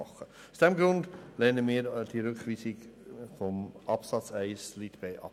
Aus diesem Grund lehnen wir den Rückweisungsantrag zu Absatz 1 Buchstabe b ab.